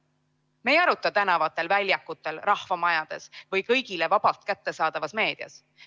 Me ei aruta tänavatel, väljakutel, rahvamajades või kõigile vabalt kättesaadavas meedias.